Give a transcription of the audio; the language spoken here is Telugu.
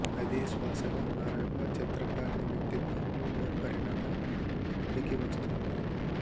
అదే శ్వాసగా మారాక చిత్రకారిణి వ్యక్తిత్వంలో ఓ పరిణత ఉబికి వస్తుంది